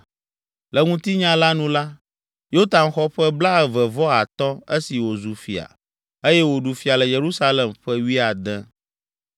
Le ŋutinya la nu la, Yotam xɔ ƒe blaeve vɔ atɔ̃ esi wòzu fia eye wòɖu fia le Yerusalem ƒe wuiade.